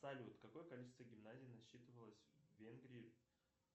салют какое количество гимназий насчитывалось в венгрии